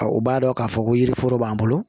U b'a dɔn k'a fɔ ko yiriforo b'an bolo